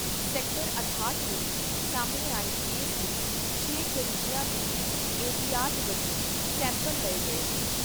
Sector ਅਠਾਹਟ ਵਿਚ ਸਾਹਮਣੇ ਆਏ ਕੇਸ ਦੇ ਛੇ ਕਰੀਬੀਆਂ ਦੇ ਵੀ ਅਹਿਤਿਆਤ ਵਜੋਂ ਸੈਂਪਲ ਲਏ ਗਏ ਨੇ।